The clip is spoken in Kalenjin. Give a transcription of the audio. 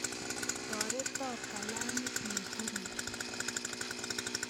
Torote kalamit nebirir